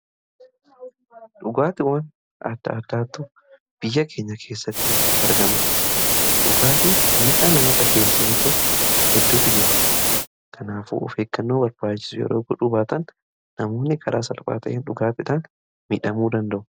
dhugaatiwwaan adda addaatu biyya keenya keessatti argama. dhugaatiin miidhaa namarraan geessisu hedduutu jira. kanaafuu of eegannoo barbaachisu yoo gochuudhaabattan namoonni karaa salphaatiin dhugaatiidhaan miidhamuu danda'u.